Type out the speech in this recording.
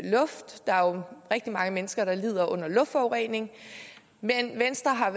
rigtig mange mennesker der lider under luftforureningen men venstre har